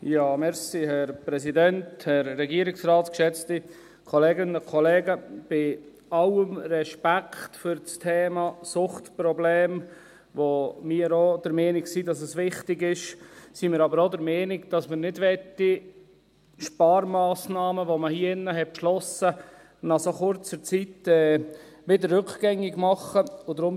Bei allem Respekt für das Thema Suchtprobleme – bei dem wir auch der Meinung sind, dass es wichtig ist – sind wir aber auch der Meinung, dass man Sparmassnahmen, die man in diesem Saal beschlossen hat, nicht nach so kurzer Zeit wieder rückgängig machen sollte.